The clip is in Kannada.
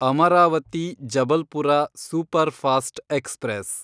Amaravati Jabalpur superfast express